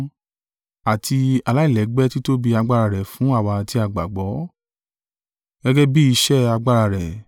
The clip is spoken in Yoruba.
àti aláìlẹ́gbẹ́ títóbi agbára rẹ̀ fún àwa tí a gbàgbọ́. Gẹ́gẹ́ bí iṣẹ́ agbára rẹ̀,